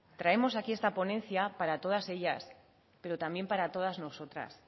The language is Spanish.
traemos aquí esta ponencia para todas ellas pero también para todas nosotras